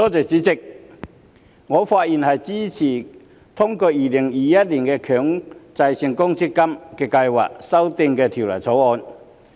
主席，我發言支持通過《2021年強制性公積金計劃條例草案》。